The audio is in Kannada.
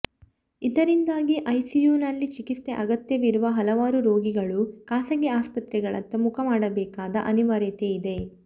ಇದರಿಂದಾಗಿ ಐಸಿಯುವಿನಲ್ಲಿ ಚಿಕಿತ್ಸೆ ಅಗತ್ಯವಿರುವ ಹಲವಾರು ರೋಗಿಗಳು ಖಾಸಗಿ ಆಸ್ಪತ್ರೆಗಳತ್ತ ಮುಖ ಮಾಡಬೇಕಾದ ಅನಿವಾರ್ಯತೆಯಿದೆ